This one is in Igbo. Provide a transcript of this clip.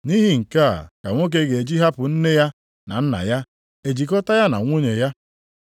‘Nʼihi nke a ka nwoke ga-eji hapụ nne ya na nna ya e jikọta ya na nwunye ya.